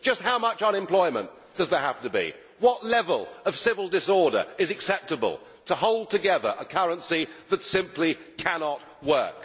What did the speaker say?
Just how much unemployment does there have to be? What level of civil disorder is acceptable to hold together a currency that simply cannot work?